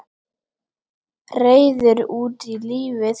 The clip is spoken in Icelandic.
Reiður út í lífið.